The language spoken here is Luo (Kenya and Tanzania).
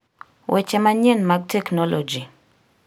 weche manyien mag teknoloji